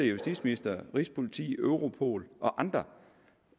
justitsministre rigspolitiet europol og andre